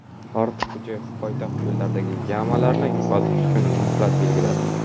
Ortiqxo‘jayev poytaxt yo‘llaridagi "yama"larni yo‘qotish uchun muhlat belgiladi.